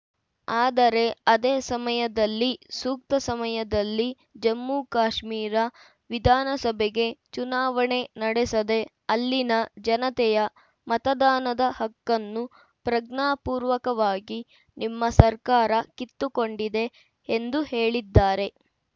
ಆದರೆ ಅದೇ ಸಮಯದಲ್ಲಿ ಸೂಕ್ತ ಸಮಯದಲ್ಲಿ ಜಮ್ಮು ಕಾಶ್ಮೀರ ವಿಧಾನಸಭೆಗೆ ಚುನಾವಣೆ ನಡೆಸದೆ ಅಲ್ಲಿನ ಜನತೆಯ ಮತದಾನದ ಹಕ್ಕನ್ನು ಪ್ರಜ್ಞಾಪೂರ್ವಕವಾಗಿ ನಿಮ್ಮ ಸರ್ಕಾರ ಕಿತ್ತುಕೊಂಡಿದೆ ಎಂದು ಹೇಳಿದ್ದಾರೆ